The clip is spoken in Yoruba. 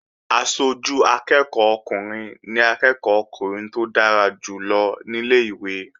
Aṣojú akẹ́ẹ̀kọ́ ọkùnrin ni akẹ́ẹ̀kọ́ ọkùnrin tó dára jù lọ ní ilé-ìwé